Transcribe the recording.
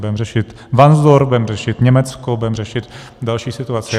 Budeme řešit Varnsdorf, budeme řešit Německo, budeme řešit další situaci.